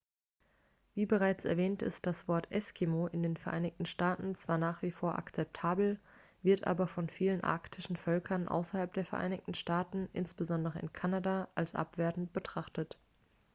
"wie bereits erwähnt ist das wort "eskimo" in den vereinigten staaten zwar nach wie vor akzeptabel wird aber von vielen arktischen völkern außerhalb der vereinigten staaten insbesondere in kanada als abwertend betrachtet.